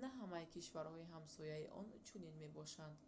на ҳамаи кишварҳои ҳамсояи он чунин мебошанд